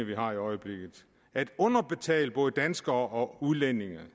vi har i øjeblikket at underbetale både danskere og udlændinge